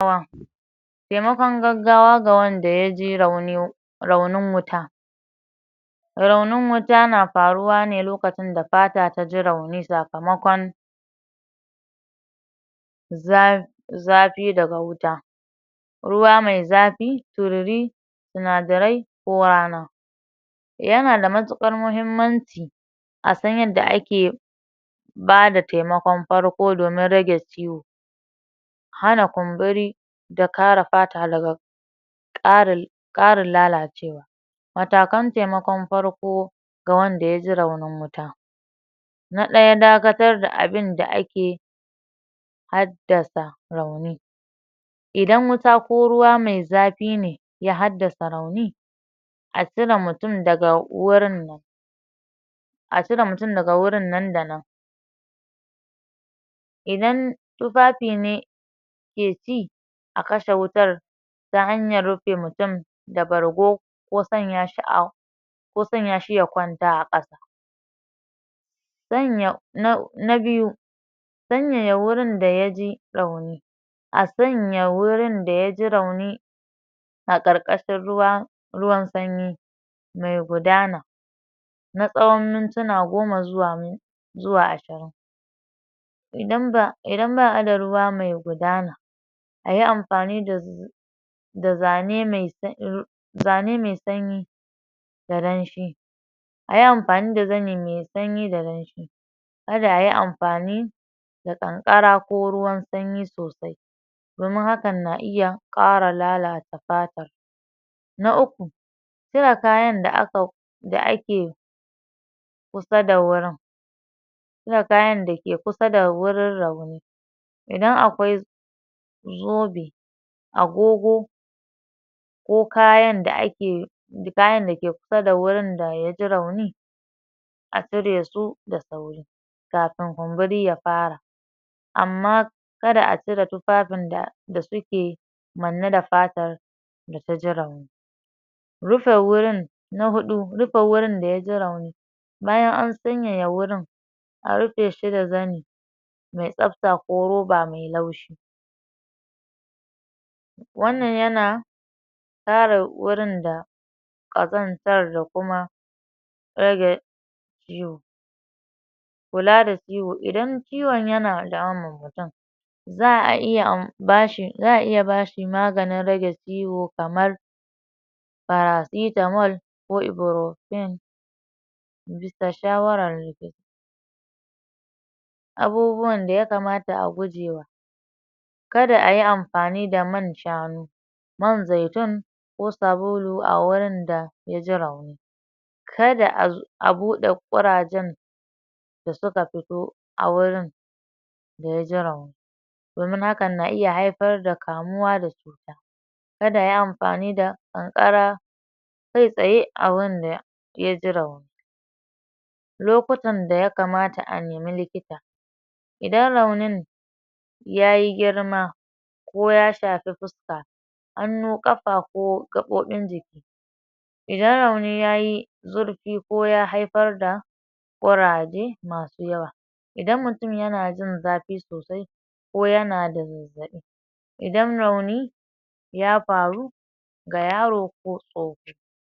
temakon gaggawa ga wanda yaji raunin raunin wuta raunin wuta na faruwane lokacin da fata taji rauni sakamakon zaa zafi daga wuta ruwa mai zafi tururi sinadarai ko rana yanada matuƙar muhimmanci asan yanda ake bada temakon farko domin rage ciwo hana kumburi da kare fata daga ƙarin ƙarin lalacewa matakan temakon farko ga wanda yaji raunin wuta na ɗaya dakatar da abinda ake haddasa rauni idan wuta ko ruwa mai zafi ne ya haddasa rauni a cira mutun daga wurin nan a cire mutun daga wurin nan da nan idan tufafi ne a kashe wutar ta hanyar rufe mutun da bargo ko sanya shi au ko sanya shi ya kwanta a ƙasa sanya na na biyu sanyaya wurin da yaji rauni a sanya wurin da yaji rauni a ƙarƙashin ruwa, ruwan sanyi mai gudana na tsawan mintina goma zuwa min zuwa ashirin idan ba, idan ba'ada ruwa mai gudana ayi amfani da da zane mai s zane mai sanyi da danshi ayi amfani da zani mai sanyi da danshi kada ayi amfani da ƙanƙara ko ruwan sanyi sosai domun hakan na iya ƙara lalata fatan na uku cire kayan da aka, da ake kusa da wurin cire kayan dake kusa da wurin rauni idan akwai zoɓe agogo ko kayan da ake kayan dake kusa da wurin da yaji rauni a ciresu da sauri kafin kumburi ya fara amma kada a cire tufafin da da suke manne da fatar da taji rauni rufe wurin na huɗu rufe wurin da yaji rauni bayan an sanyaya wurin a rufeshi da zani mai tsafta ko roba mai laushi wannan yana kare wurin da ƙazantar da kuma rage zuu kula da ciwo idan ciwun yana damu idan ciwon yana damun mutun za'a iya an bashi za'a iya bashi maganin rage ciwo kamar paracitamol ko iburofen bisa shawarar abubuwan da ya kamata a gujewa kada ayi amfani da man shanu man zaitun ko sabulu a wurin da yaji rauni kada a zu, abuɗe kurajen da suka futo a wurin da yaji rauni domin hakan na iya haifar da kamuwa da kada ayi amfani da ƙanƙara kai tsaye a wanda yaji rauni lokutan da ya kamata a nemi likita idan raunin yayi girma koya shafi fuska hannu ƙafa ko gaɓoɓin jiki idan rauni yayi zurfi ko ya haifar da ƙuraje masu yawa idan mutun yana jin zafi sosai ko yana da ko yana da zazzaɓi idan rauni ya faru ga yaro ko tsofi.